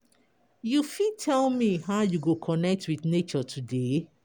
You fit tell me how you go connect with nature today?